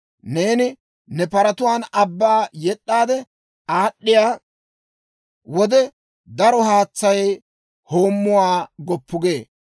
Neeni ne paratuwaan abbaa yed'd'aade aad'd'iyaa wode, daro haatsay hoommuwaa goppu gee.